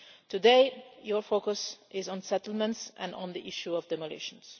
Today, your focus is on settlements and on the issue of demolitions.